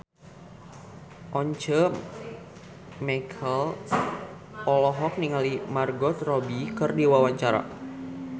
Once Mekel olohok ningali Margot Robbie keur diwawancara